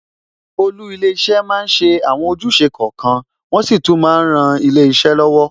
Olú ilé iṣẹ́ máa ń ṣe àwọn ojúṣe kọ̀ọ̀kan, wọn sì tún máa ń ran ilé iṣẹ́ lọ́wọ́.